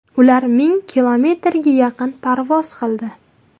Ular ming kilometrga yaqin parvoz qildi.